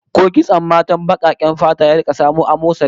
Ko kitson matan bakaken fata ya riga samo asali?